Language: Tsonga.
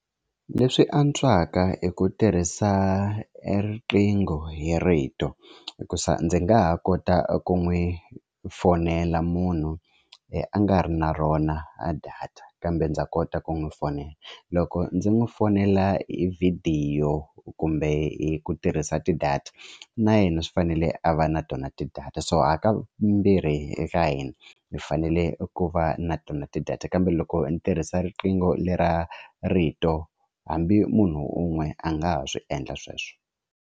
Leswi antswaka hi ku tirhisa e riqingho hi rito hikusa ndzi nga ha kota ku n'wi fonela munhu loyi a nga ri na rona a data kambe ndza kota ku n'wi fonela loko ndzi n'wi fonela hi vhidiyo kumbe hi ku tirhisa ti-data na yena swi fanele a va na tona ti'data so ha ka mbirhi eka hina hi fanele ku va na tona ti-data kambe loko ni tirhisa riqingho lera rito hambi munhu un'we a nga ha swi endla sweswo.